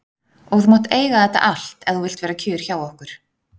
Og þú mátt eiga þetta allt ef þú vilt vera kjur hjá okkur.